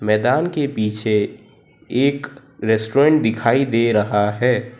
मैदान के पीछे एक रेस्टोरेंट दिखाई दे रहा है।